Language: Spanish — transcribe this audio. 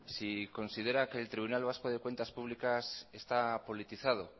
si considera que el tribunal vasco de cuentas públicas está politizado